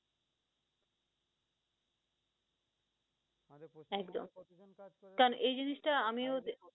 একদম, কারন এই জিনিস টা আমিও